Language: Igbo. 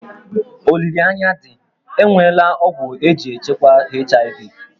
Olileanya dị, e nweela ọgwụ eji echukwa HIV